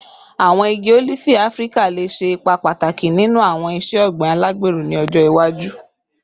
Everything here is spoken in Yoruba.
Awọn igi olifi Afirika le ṣe ipa pataki ninu awọn iṣe ogbin alagbero ni ọjọ iwaju